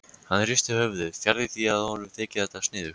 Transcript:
Hann hristir höfuðið, fjarri því að honum þyki þetta sniðugt.